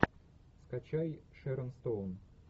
скачай шерон стоун